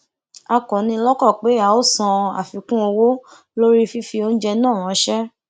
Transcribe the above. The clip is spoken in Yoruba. a kò ni lọkàn pé a ó san àfikún owó lórí fífi oúnjẹ náà ránṣẹ